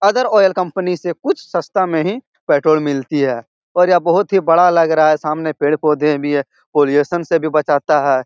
Other oil company से कुछ सस्ता मे ही पेट्रोल मिलती है और यह बहुत ही बड़ा लग रहा है सामने पेड़-पौधे भी है पॉल्यूशन से भी बचाता है।